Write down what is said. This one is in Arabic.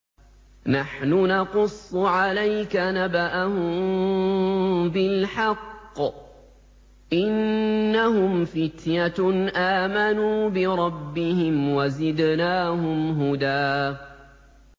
نَّحْنُ نَقُصُّ عَلَيْكَ نَبَأَهُم بِالْحَقِّ ۚ إِنَّهُمْ فِتْيَةٌ آمَنُوا بِرَبِّهِمْ وَزِدْنَاهُمْ هُدًى